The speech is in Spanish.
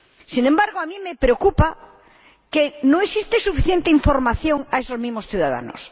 Sin embargo, a mí me preocupa que no se dé suficiente información a esos mismos ciudadanos.